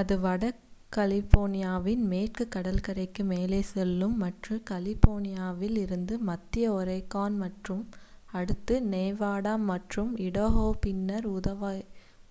அது வட கலிபோர்னியாவின் மேற்குக் கடற்கரைக்கு மேலே செல்லும் மற்றும் கலிபோர்னியாவில் இருந்து மத்திய ஒரேகான் மற்றும் அடுத்து நெவாடா மற்றும் இடாஹோ பின்னர்